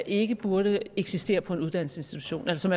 ikke burde eksistere på en uddannelsesinstitution eller som